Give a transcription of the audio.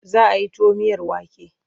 Za a yi tuwo miyar wake.